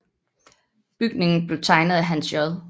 Bygningen blev tegnet af Hans J